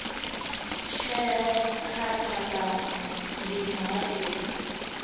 tsheo kha phambano ndi muhatuli